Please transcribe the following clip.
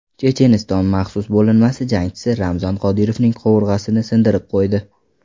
Checheniston maxsus bo‘linmasi jangchisi Ramzon Qodirovning qovurg‘asini sindirib qo‘ydi.